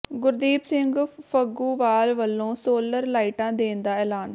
ਗੁਰਦੀਪ ਸਿੰਘ ਫੱਗੂਵਾਲ ਵਲੋਂ ਸੋਲਰ ਲਾਈਟਾਂ ਦੇਣ ਦਾ ਐਲਾਨ